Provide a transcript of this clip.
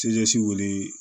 wele